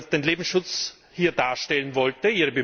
die den Lebensschutz hier darstellen wollten.